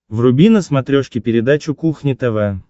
вруби на смотрешке передачу кухня тв